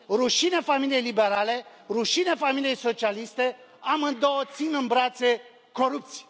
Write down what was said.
Rușine familiei liberale, rușine familiei socialiste, amândouă țin în brațe corupți!